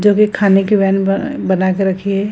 जो भी खाने की वैन ब बना के रखी है।